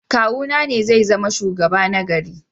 Kawuna ne zai zama shugaba na gari.